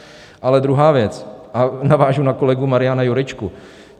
Ale druhá věc, a navážu na kolegu Mariana Jurečku.